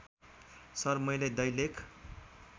sir मैले दैलेख